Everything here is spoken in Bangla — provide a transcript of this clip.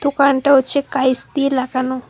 দোকানটা হচ্ছে কাঁইস দিয়ে লাগানো।